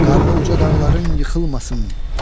Karlı uca dağların yıxılmasın.